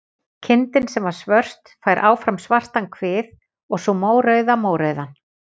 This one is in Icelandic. Kindin sem var svört fær áfram svartan kvið og sú mórauða mórauðan.